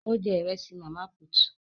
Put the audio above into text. Ó jẹ Ìrẹ́sì màmá put